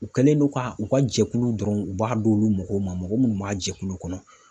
U kɛlen don ka u ka jɛkulu dɔrɔn u b'a d'olu mɔgɔw ma, mɔgɔ munnu b'a jɛkulu kɔnɔ.